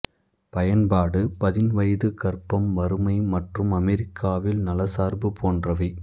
பயன்பாடு பதின்வயது கர்ப்பம் வறுமை மற்றும் அமெரிக்காவில் நல சார்பு போன்றவை